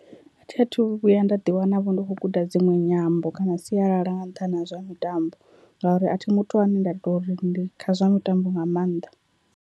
A thi athu vhuya nda ḓi wana vho ndi khou guda dzinwe nyambo kana sialala nga nṱhani ha zwa mitambo, ngauri a thi muthu ane nda tori ndi kha zwa mitambo nga maanḓa.